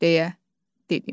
Deyə dedim.